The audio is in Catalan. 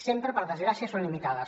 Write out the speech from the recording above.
sempre per desgràcia són limitades